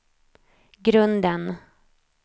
grunden